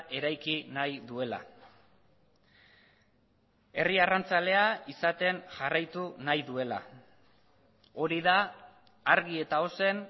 eraiki nahi duela herri arrantzalea izaten jarraitu nahi duela hori da argi eta ozen